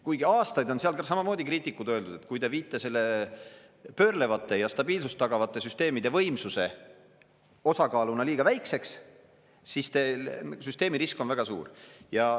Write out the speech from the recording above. Kuigi aastaid on seal samamoodi kriitikud öelnud, et kui te viite selle pöörlevatele ja stabiilsust tagavate süsteemide võimsuse osakaaluna liiga väikeseks, siis teil süsteemi risk on väga suur.